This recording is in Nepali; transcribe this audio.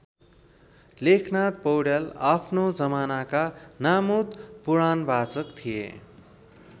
लेखनाथ पौड्याल आफ्नो जमानाका नामुद पुराणवाचक थिए।